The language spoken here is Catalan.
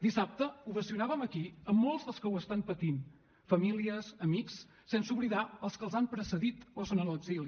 dissabte ovacionàvem aquí a molts dels que ho estan patint famílies i amics sense oblidar els que els han precedit o són a l’exili